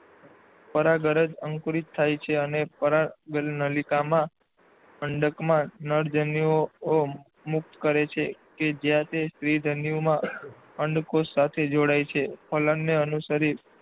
પરાગરજ અંકુરિત થાય છે અને પરાગનલિકા અંડકમાં નરજન્યુઓ મુક્ત કરે છે કે જ્યાં તે સ્ત્રીજન્યુધાનીમાં અંડકોષ સાથે જોડાય છે. ફલનને અનુસરી,